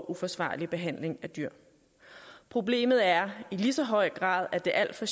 uforsvarlig behandling af dyr problemet er i lige så høj grad at der alt for